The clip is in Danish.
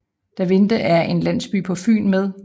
Davinde er en landsby på Fyn med